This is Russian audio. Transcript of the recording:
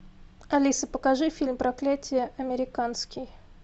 алиса покажи фильм проклятие американский